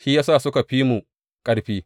Shi ya sa suka fi mu ƙarfi.